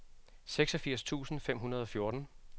seksogfirs tusind fem hundrede og fjorten